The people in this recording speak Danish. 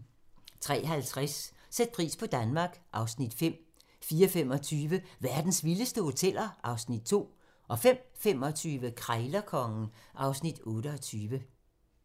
03:50: Sæt pris på Danmark (Afs. 5) 04:25: Verdens vildeste hoteller (Afs. 2) 05:25: Krejlerkongen (Afs. 28)